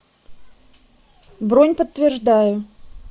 бронь подтверждаю